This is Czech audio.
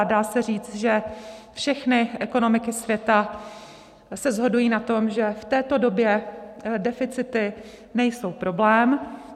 A dá se říct, že všechny ekonomiky světa se shodují na tom, že v této době deficity nejsou problém.